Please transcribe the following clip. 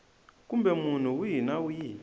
kumbe munhu wihi na wihi